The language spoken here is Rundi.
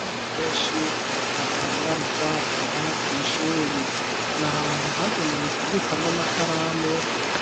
Abantu benshi badandariza aha kw'ishuri. Ni ahantu hagenewe kubikwa n'amakaramu